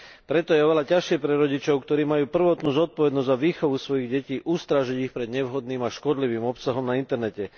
Preto je oveľa ťažšie pre rodičov, ktorí majú prvotnú zodpovednosť za výchovu svojich detí, ustrážiť ich pred nevhodným a škodlivým obsahom na internete.